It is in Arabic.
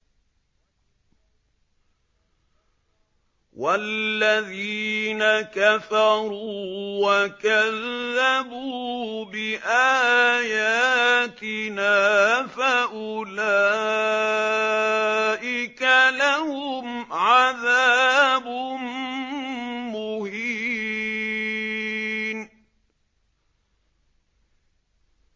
وَالَّذِينَ كَفَرُوا وَكَذَّبُوا بِآيَاتِنَا فَأُولَٰئِكَ لَهُمْ عَذَابٌ مُّهِينٌ